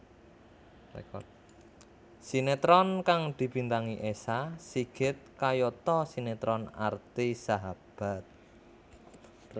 Sinetron kang dibintangi Esa Sigit kayata sinetron Arti Sahabat